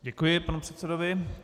Děkuji panu předsedovi.